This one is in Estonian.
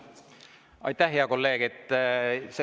Aitäh, hea kolleeg!